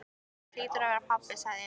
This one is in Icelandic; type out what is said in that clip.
Það hlýtur að vera pabbi, sagði Emil.